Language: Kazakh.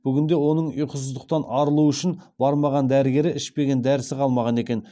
бүгінде оның ұйқысыздықтан арылу үшін бармаған дәрігері ішпеген дәрісі қалмаған екен